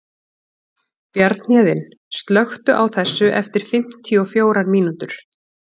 Bjarnhéðinn, slökktu á þessu eftir fimmtíu og fjórar mínútur.